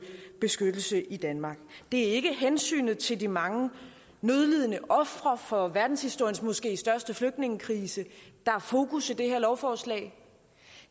beskyttelse i danmark det er ikke hensynet til de mange nødlidende ofre for verdenshistoriens måske største flygtningekrise der er fokus for det her lovforslag det